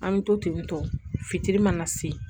An bɛ to tentɔ fitiri mana se